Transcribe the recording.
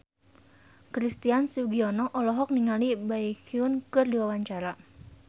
Christian Sugiono olohok ningali Baekhyun keur diwawancara